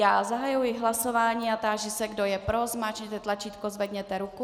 Já zahajuji hlasování a táži se, kdo je pro, zmáčkněte tlačítko, zvedněte ruku.